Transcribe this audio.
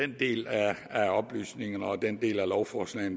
den del af oplysningerne og den del af lovforslaget